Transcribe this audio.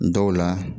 Dɔw la